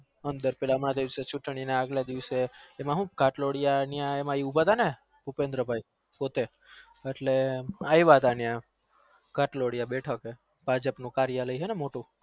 અંદર પેલા મધેવ ના ભુપેબ્દ્ર ભાઈ પોતે બેઠકે ભજપ નું કરેય્લય હ ને